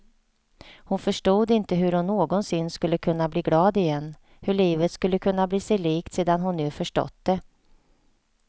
Hon förstod inte hur hon någonsin skulle kunna bli glad igen, hur livet skulle kunna bli sig likt sedan hon nu förstått det.